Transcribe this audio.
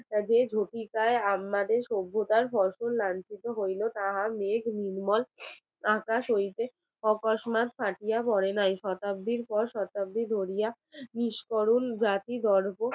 আমাদের সভ্যতার ফসল লাঞ্ছিত হইল না মেঘ নির্মল আকাশ হইতে, প্রকাশ মাঘ পাঠিয়া পড়ে নাই শতাব্দীর শতাব্দীর পর শতাব্দী ধরিয়া মিস করুন জাতির